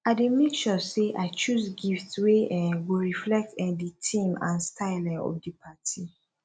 i dey make sure say i choose gifts wey um go reflect um di theme and style um of di party